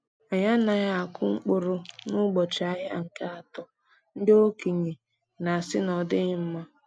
Anyị anaghị akụ mkpụrụ n’ụbọchị ahịa nke atọ ndi okenye na-asị na ọdighi mma.